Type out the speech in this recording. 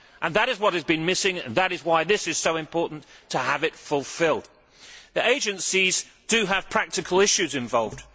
That is what has been missing and that is why it is so important to have it fulfilled. The agencies do have practical issues involved.